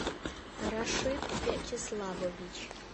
рашид вячеславович